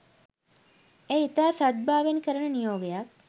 එය ඉතා සද්භාවයෙන් කරන නියෝගයක්